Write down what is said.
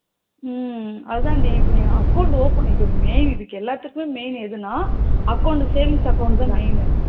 உம் அதாண்டி நீ இப்போ account open இது எல்லாத்துக்கும் main எதுனா account savings account தா main